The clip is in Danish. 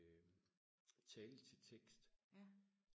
øh tale til tekst